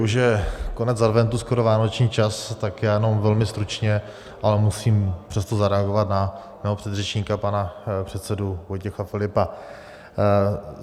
Už je konec adventu, skoro vánoční čas, tak já jenom velmi stručně, ale musím přesto zareagovat na svého předřečníka, pana předsedu Vojtěcha Filipa.